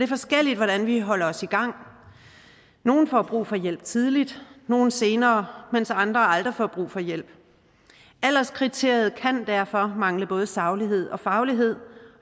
forskelligt hvordan vi holder os i gang nogle får brug for hjælp tidligt nogle senere mens andre aldrig får brug for hjælp alderskriteriet kan derfor mangle både saglighed og faglighed